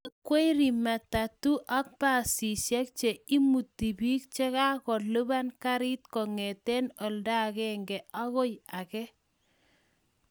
Nekwerie matatu ak basishek che imuti piik che kakolipan garit kongetee olda agenge akoi age